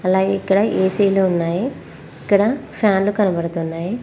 అలాగే ఇక్కడ ఏ_సి లు ఉన్నాయి ఇక్కడ ఫ్యాన్లు కనబడుతున్నాయి.